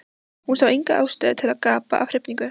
Hún sá enga ástæðu til að gapa af hrifningu.